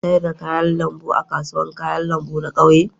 Kuna sayar da kayan lambu a kasuwar kayan lambu na ƙauye?